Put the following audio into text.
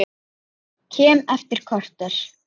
Kem eftir korter!